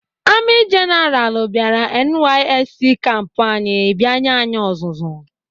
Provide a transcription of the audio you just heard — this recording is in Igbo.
Amị jenaral bịara NYSC kampu anyị bịa nye anyị ọzụzụ.